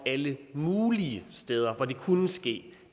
alle mulige steder hvor det kunne ske